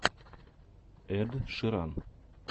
эд ширан